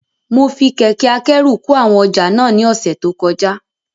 Mo fi kẹ̀kẹ́ akẹ́rù kó àwọn ọjà náà ní ọ̀sẹ̀ tó kọjá